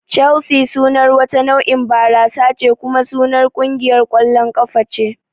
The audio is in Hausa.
Chelsea sunar wata nau'in barasa ce kuma sunar kungiyar ƙwallon kafa ce